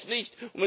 Sonst nicht.